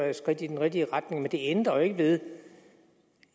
da et skridt i den rigtige retning men det ændrer jo ikke ved det